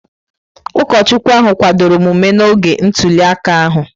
Ụkọchukwu ahụ kwadoro omume n'oge ntuli aka ahụ.